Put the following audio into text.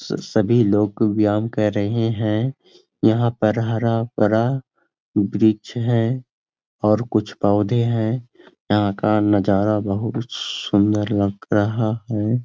स सभी लोग व्यायाम कर रहे हैं यहां पर हरा-भरा वृक्ष है और कुछ पौधे हैं यहां का नजारा बहुत सुंदर लग रहा है।